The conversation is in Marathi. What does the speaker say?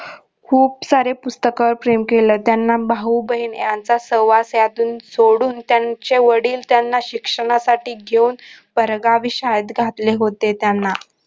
खूप साऱ्या पुस्तकांवर प्रेम केलं त्यांना भाऊ बहिणी यांचा सहवास यातून सोडून त्यांचे वडील त्यांना शिक्षणासाठी घेऊन परगावी शाळेत घातले होते त्यांना